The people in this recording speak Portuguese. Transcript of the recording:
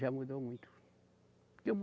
Já mudou muito.